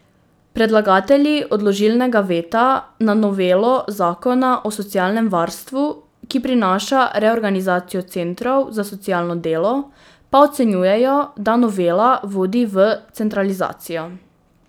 Predlagatelji odložilnega veta na novelo zakona o socialnem varstvu, ki prinaša reorganizacijo centrov za socialno delo, pa ocenjujejo, da novela vodi v centralizacijo.